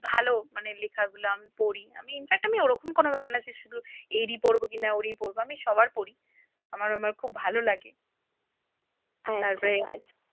ভালো মানে লেখাগুলো আমি পড়ি infact আমি ওরকম কোন ব্যাপার না যে শুধু এরই পড়বো কিনা ওরই পড়বো আমি সবার পড়ি, আমার খুব ভালো লাগে তারপরে,